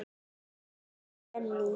Fjóla Benný.